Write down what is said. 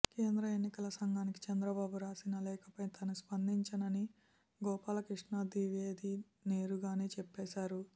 కేంద్ర ఎన్నికల సంఘానికి చంద్రబాబు రాసిన లేఖపై తాను స్పందించనని గోపాలకృష్ణ ద్వివేది నేరుగానే చెప్పేశారు